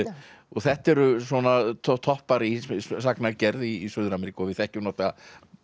þetta eru toppar í sagnagerð í Suður Ameríku og við þekkjum náttúrulega